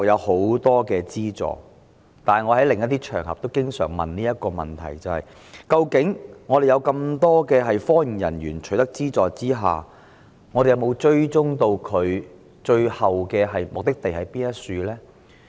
可是，正如我在另外一些場合經常提出質疑：有這麼多科研人員取得資助，究竟當局有否追蹤他們最後的目的地在何處呢？